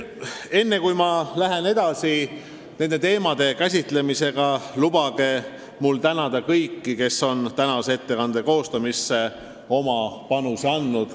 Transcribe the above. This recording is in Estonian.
Enne kui ma nende teemade käsitlemisega edasi lähen, lubage mul tänada kõiki, kes on tänase ettekande koostamisse oma panuse andnud.